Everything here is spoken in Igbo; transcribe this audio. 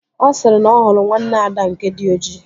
Ọ sịrị na ọ hụrụ nwanne Ada nke dị ojii